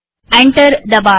enter દબાવીએ